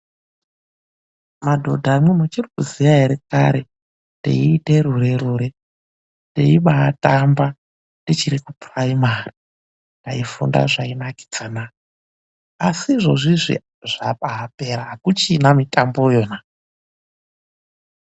Madhodhamwi muchirikuziya ere kare teiite rure-rure teibaatamba tichiri kuchikora chepuraimari. Taifunda zvaibaanakidzana asi izvozvizvi zvabapera hakuchina mitambo iyona.